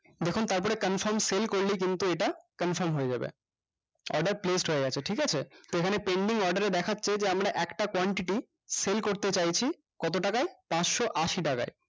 দেখুন তারপরে confirm sell করলে কিন্তু এটা confirm হয়ে যাবে order placed হয়ে গেছে ঠিকাছে তো এখানে pending order এ দেখা যাচ্ছে যে আমরা একটা quantity sell করতে চাইছি কত টাকায় পাঁচশ আশি টাকায়